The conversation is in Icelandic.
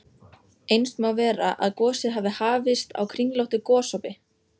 Eins má vera, að gosið hafi hafist á kringlóttu gosopi.